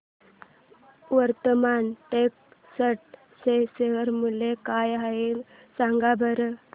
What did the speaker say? आज वर्धमान टेक्स्ट चे शेअर मूल्य काय आहे सांगा बरं